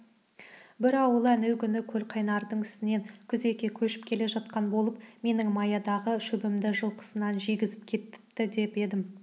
бір ауылы әнеугүні көлқайнардың үстінен күзекке көшіп келе жатқан болып менің маядағы шөбімді жылқысына жегізіп кетіпті деп едім